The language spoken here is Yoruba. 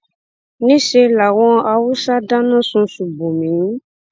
níṣe làwọn haúsá dáná sun ṣùbòmí